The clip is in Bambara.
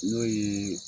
N'o ye